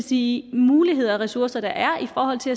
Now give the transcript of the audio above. de muligheder og ressourcer der er i forhold til